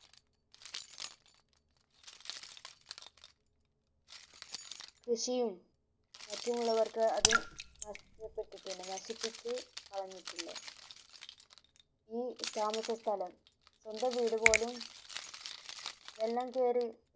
കൃഷിയും മറ്റുമുള്ളവർക് അത് നഷ്ടപെട്ടിട്ടുണ്ട് നശിപ്പിച്ചു കളഞ്ഞിട്ടുണ്ട് ഈ താമസ സ്ഥലം സ്വന്തം വീട് പോലും വെള്ള കേറി